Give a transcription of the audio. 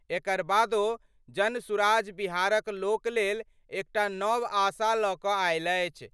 एकर बादो जनसुराज बिहारक लोक लेल एकटा नव आशा ल क आयल अछि।